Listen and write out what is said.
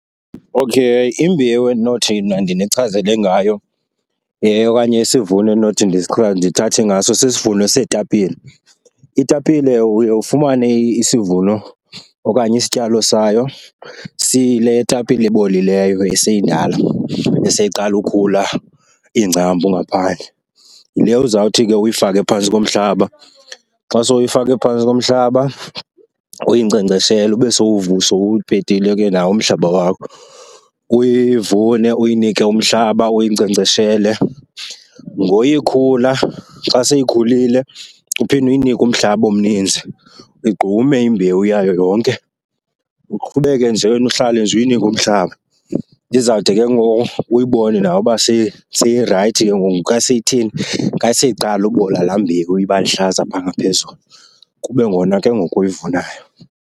Okay, imbewu endinothi mna ndinichazele ngayo okanye isivuno endinothi ndithathe ngaso sisivuno seetapile. Itapile uye ufumane isivuno okanye isityalo sayo siyile tapile ibolileyo eseyindala, eseyiqala ukhula iingcambu ngaphandle. Yile uzawuthi ke uyifake phantsi komhlaba. Xa sowuyifake phantsi komhlaba uyinkcenkceshele, ube sowupetile ke nawo umhlaba wakho. Uyivune, uyinike umhlaba, uyinkcenkceshele. Ngoya ikhula, xa seyikhulile uphinde uyinike umhlaba omninzi, uyigqume imbewu yayo yonke. Uqhubeke nje wena, uhlale nje uyinike umhlaba izawude ke ngoku uyibone nawe uba seyirayithi ke ngoku. Ka seyitheni? Ka seyiqala ubola laa mbewu iba lihlaza phaa ngaphezulu, kube ngona ke ngoku uyivunayo.